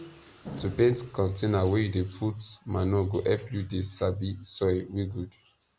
to paint container wey you dey put manure go help you dey sabi soil wey good